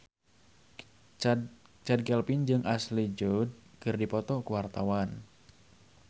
Chand Kelvin jeung Ashley Judd keur dipoto ku wartawan